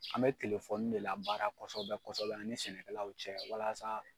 An bɛ telefɔni de labaara kɔsɔbɛ kɔsɔbɛ an ni sɛnɛkɛlaw cɛ walasa